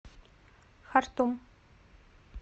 хартум